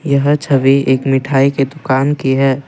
यह छवि एक मिठाई के दुकान की है।